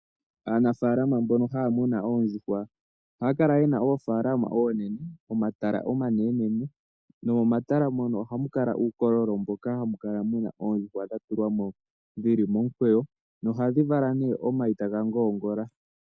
Aanafalama mbono ha muna oondjuhwa ohaa kala yena oofalama oonene ,omatala omanene nomomatala mono ohamu kala uukololo moka hamu kala muna oondjuhwa dha tulwa mo dhili momukweyo ohadhi vala nee omayi ta ga ngoongola.